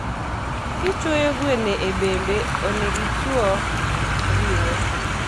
kichuoyo gwene e bambe, onego ichuo ringo